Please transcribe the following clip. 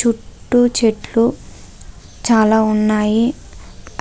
చుట్టూ చెట్లు చాలా ఉన్నాయి